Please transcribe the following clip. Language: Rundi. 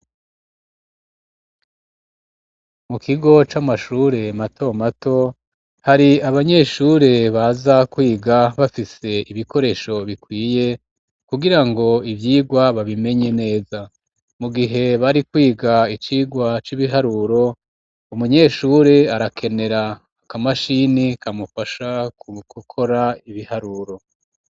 Mu kigo c'amashure mato mato, hari abanyeshure baza kwiga, bafise ibikoresho bikwiye, kugira ngo ivyigwa babimenye neza; mu gihe bari kwiga icigwa c'ibiharuro, umunyeshure arakenera akamashini, kamufasha gukora ibiharuro.